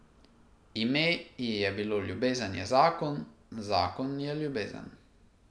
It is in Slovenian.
Ime ji je bilo Ljubezen je zakon, zakon je Ljubezen.